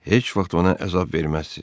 Heç vaxt ona əzab verməzsiz.